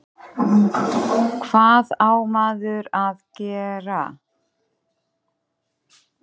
og hvað á maður að gera?